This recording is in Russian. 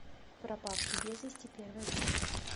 пропавший без вести первая часть